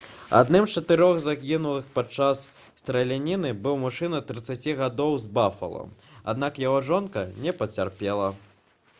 адным з чатырох загінулых падчас страляніны быў мужчына 30 гадоў з бафала аднак яго жонка не пацярпела